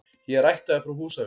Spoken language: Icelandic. Ég er ættaður frá Húsavík.